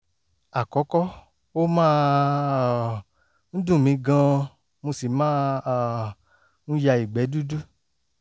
àkọ́kọ́ ó máa um ń dùn mí gan-an mo sì máa um ń ya ìgbẹ́ dúdú